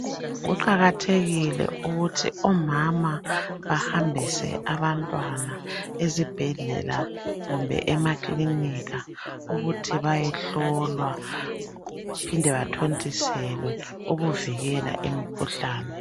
Kuqakathekile ukuthi umama bahambise abantwana ezibhedlela kumbe emakilinika ukuthi bayehlowa baphinde bathontiselwe ukuvikela imikhuhlane.